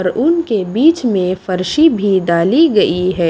उन्के के बीच में फर्शी भी डाली गई है।